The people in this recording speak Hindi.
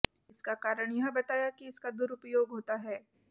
इसका कारण यह बताया कि इसका दुरूपयोग होता है